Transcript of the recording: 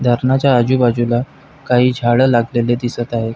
धरणाच्या आजूबाजूला काही झाड लागलेली दिसत आहेत.